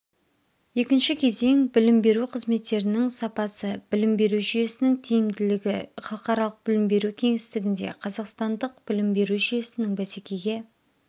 екінші кезең білім беру қызметтерінің сапасы білім беру жүйесінің тиімділігі халықаралық білім беру кеңістігінде қазақстандық білім беру жүйесінің бәсекеге